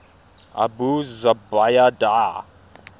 abu zubaydah